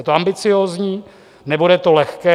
Je to ambiciózní, nebude to lehké.